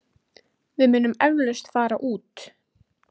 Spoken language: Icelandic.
Við munum eflaust fara út.